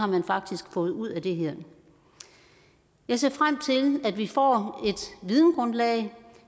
man faktisk har fået ud af det her jeg ser frem til at vi får et videngrundlag